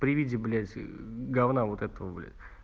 при виде блять говна вот этого бля